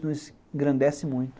nos engrandece muito